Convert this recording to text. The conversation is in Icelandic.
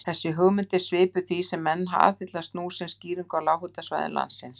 Þessi hugmynd er svipuð því sem menn aðhyllast nú sem skýringu á lághitasvæðum landsins.